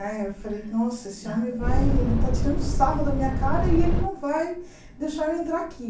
Né e eu falei, nossa, esse homem vai, ele está tirando sarro da minha cara e ele não vai deixar eu entrar aqui.